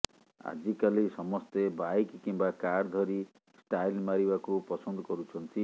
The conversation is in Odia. ଆଜିକାଲି ସମସ୍ତେ ବାଇକ୍ କିମ୍ବା କାର ଧରି ଷ୍ଟାଇଲ ମାରିବାକୁ ପସନ୍ଦ କରୁଛନ୍ତି